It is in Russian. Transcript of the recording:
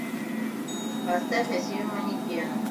поставь асию манекены